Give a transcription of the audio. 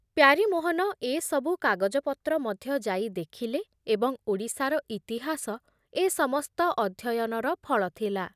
ପ୍ୟାରୀମୋହନ ଏ ସବୁ କାଗଜପତ୍ର ମଧ୍ୟ ଯାଇ ଦେଖିଲେ ଏବଂ ଓଡ଼ିଶାର ଇତିହାସ ଏ ସମସ୍ତ ଅଧ୍ୟୟନର ଫଳ ଥିଲା ।